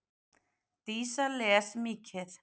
Dísa les mikið.